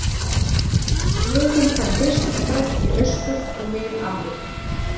Nú finnst hann fyrst og fremst í Austur- og Mið-Afríku.